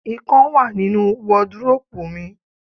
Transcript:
Ikán wà nínu wọdróòpù mi.